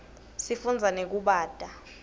sifunza nekubata